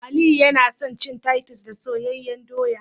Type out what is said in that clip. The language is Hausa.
Aliyu yana son cin Titus da soyayyen doya